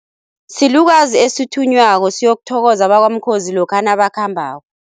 Silukazi esithunywako siyokuthokoza bakwamkhozi lokha nabakhambako.